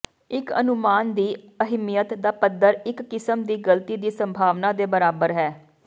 ਇੱਕ ਅਨੁਮਾਨ ਦੀ ਅਹਿਮੀਅਤ ਦਾ ਪੱਧਰ ਇਕ ਕਿਸਮ ਦੀ ਗਲਤੀ ਦੀ ਸੰਭਾਵਨਾ ਦੇ ਬਰਾਬਰ ਹੈ